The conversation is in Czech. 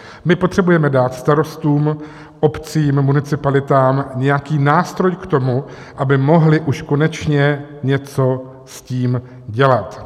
My potřebujeme dát starostům, obcím, municipalitám nějaký nástroj k tomu, aby mohli už konečně něco s tím dělat.